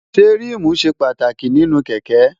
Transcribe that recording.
ṣé ríìmù ṣe pàtàkì nínú kẹ̀kẹ́?